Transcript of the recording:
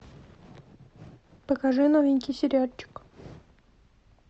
покажи новенький сериальчик